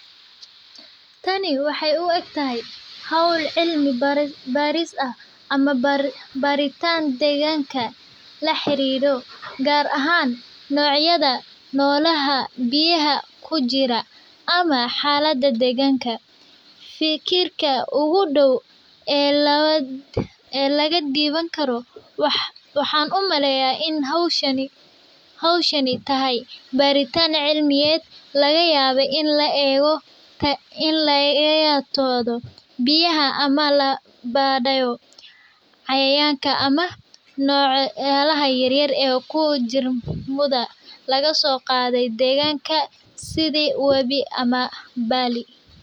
Kani waxeey u eg tahay howl cilmi baaris ah ama barintaan deeganka xakada fikirka ugu dow waxaan umaleynaya inaay tahay baritaan cilimiyeed la baraayo cayayaanka ama biyaha iyo wax yaabahaas yaryar sida wabiga.